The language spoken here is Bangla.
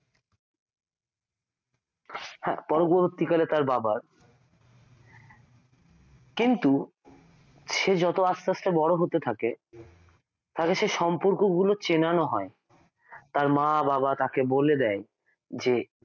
হ্যাঁ পরবর্তীকালে তার বাবার কিন্তু সে যত আস্তে আস্তে যত বড় হতে থাকে তাকে সে সম্পর্কগুলো চেনানো হয় তার মা বাবা তাকে বলে দেয় যে